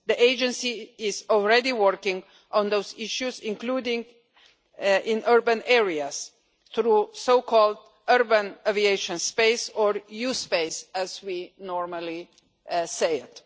The agency is already working on those issues, including in urban areas through the so-called urban aviation space or U Space' as we normally call it.